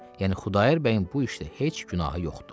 Yəni Xudayar bəyin bu işdə heç günahı yoxdur.